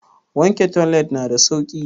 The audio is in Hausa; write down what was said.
Wanke toilet na da sauki.